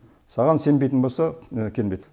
саған сенбейтін болса келмейді